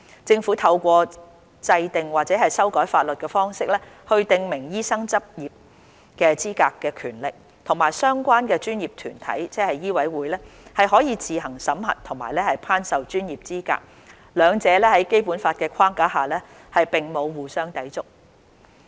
"政府透過制定或修改法律的方式來訂明醫生執業的資格的權力，與相關專業團體，即醫委會，可自行審核和頒授專業資格，兩者在《基本法》框架下，並沒有互相抵觸。